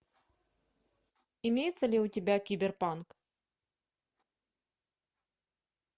имеется ли у тебя киберпанк